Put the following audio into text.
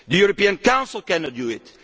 The European Council cannot